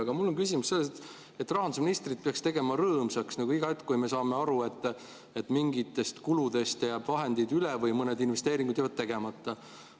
Aga mul on küsimus selles, et rahandusministrit peaks tegema rõõmsaks iga hetk, kui me saame aru, et mingitest kuludest jääb vahendeid üle või mõned investeeringud jäävad tegemata.